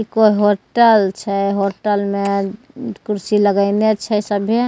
कोय होटल छै होटल में कुर्सी लगैइने छै सभे --